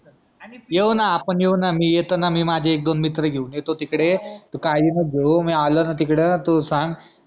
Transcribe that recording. येऊ ना आपन येऊ ना मी येतो ना मी माझे एक, दोन मित्र घेऊन येतो तिकडे तू काळजी नको घेऊ मी आलो ना तिकडं तू सांग